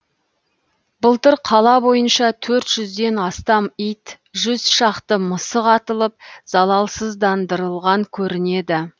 былтыр қала бойынша төрт жүзден астам ит жүз шақты мысық атылып залалсыздандырылған көрінеді